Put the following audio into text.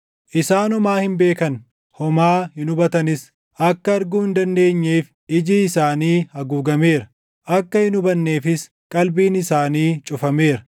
Isaan homaa hin beekan; homaa hin hubatanis; akka arguu hin dandeenyeef iji isaanii haguugameera; akka hin hubanneefis qalbiin isaanii cufameera.